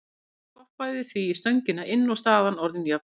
Boltinn skoppaði því í stöngina inn og staðan orðin jöfn.